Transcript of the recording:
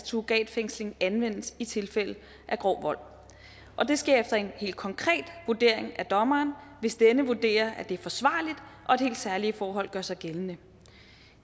surrogatfængsling anvendes i tilfælde af grov vold og det sker efter en helt konkret vurdering af dommeren hvis denne vurderer at det er forsvarligt og at helt særlige forhold gør sig gældende